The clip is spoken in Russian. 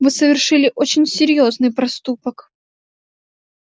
вы совершили очень серьёзный проступок